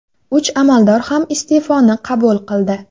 Uch amaldor ham iste’foni qabul qildi.